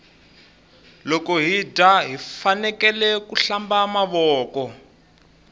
loko hi dya hifanekele ku hlamba mavoko